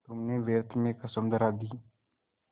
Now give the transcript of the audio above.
तुमने व्यर्थ में कसम धरा दी